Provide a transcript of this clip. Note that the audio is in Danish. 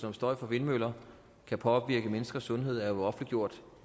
om støj fra vindmøller kan påvirke menneskers sundhed er jo offentliggjort